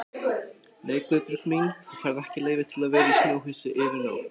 Nei Guðbjörg mín, þú færð ekki leyfi til að vera í snjóhúsi yfir nótt